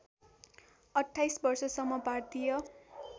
२८ वर्षसम्म भारतीय